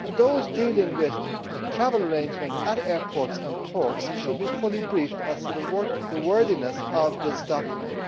Those dealing with travel arrangements at airports and ports should be fully briefed as to the worthiness of this document.